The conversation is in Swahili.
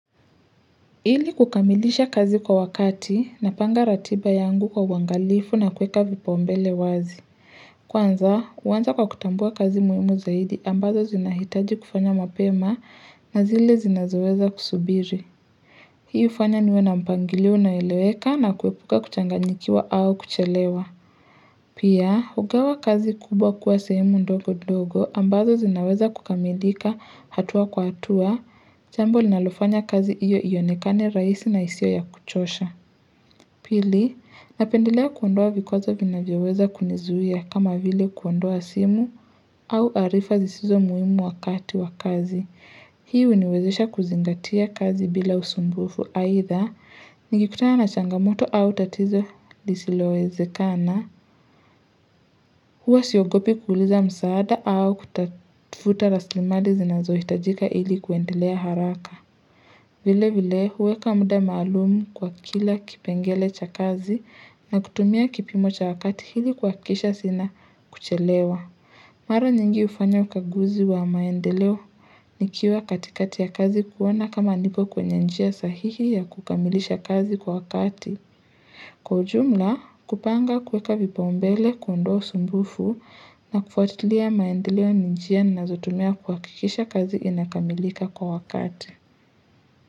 Ili kukamilisha kazi kwa wakati na panga ratiba yangu kwa wangalifu na kuweka vipaumbele wazi. Kwanza, uwanza kwa kutambua kazi muimu zaidi ambazo zinahitaji kufanya mapema na zile zinazoweza kusubiri. Hii ufanya niwe na mpangilio unaeleweka na kuepuka kuchanganyikiwa au kuchelewa. Pia, ugawa kazi kubwa kuwa sehemu ndogo ndogo ambazo zinaweza kukamilika hatua kwa hatua. Chambo linalofanya kazi iyo iyonekane raisi na isio ya kuchosha. Pili, napendelea kuondoa vikozo vina vyaweza kunizuia kama vile kuondoa simu au arifa zisizo muimu wakati wakazi. Hiu iniwezesha kuzingatia kazi bila usumbufu. Aidha, nikikutana na changamoto au tatizo lisiloweze kana, huwa siogopi kuuliza msaada au kutafuta raslimali zinazo hitajika ili kuendelea haraka. Vile vile huweka muda maalumu kwa kila kipengele cha kazi na kutumia kipimo cha wakati hili kwa kisha sina kuchelewa. Maro nyingi ufanya ukaguzi wa maendeleo nikiwa katikati ya kazi kuoana kama niko kwenye njia sahihi ya kukamilisha kazi kwa wakati. Kwa ujumla kupanga kuweka vipa umbele kundoo sumbufu na kufatilia maendeleo njia na zotumia kuhakikisha kazi inakamilika kwa wakati.